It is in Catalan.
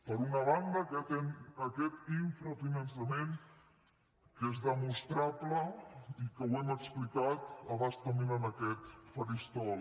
per una banda aquest infrafinançament que és demostrable i que ho hem explicat a bastament en aquest faristol